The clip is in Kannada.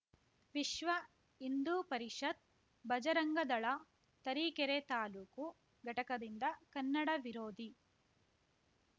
ವಿಶ್ವ ಹಿಂದು ಪರಿಷತ್‌ ಬಜರಂಗದಳ ತರೀಕೆರೆ ತಾಲೂಕು ಘಟಕದಿಂದ ಕನ್ನಡ ವಿರೋಧಿ